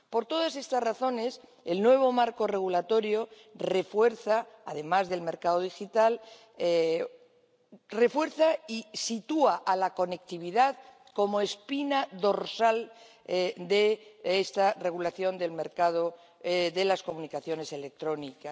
Por todas estas razones, el nuevo marco regulatorio, además del mercado digital, refuerza y sitúa la conectividad como espina dorsal de esta regulación del mercado de las comunicaciones electrónicas.